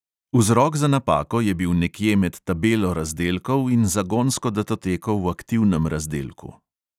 Vzrok za napako je bil nekje med tabelo razdelkov in zagonsko datoteko v aktivnem razdelku.